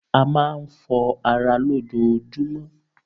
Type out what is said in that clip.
A máa ń fọ ara lójojúmọ́.